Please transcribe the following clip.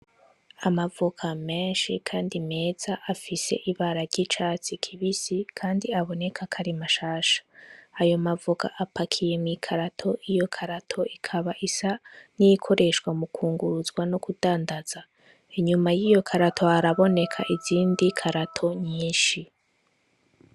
Amavoka meshi kandi meza afise ibara ry'icatsi kibisi kandi aboneka ko ari mashasha ayo mavoka apakiye mu ikarato iyo karato ikaba isa n'iyikoreshwa mu kunguruzwa no kudandaza inyuma yiyo karato haraboneka izindi karato nyishi.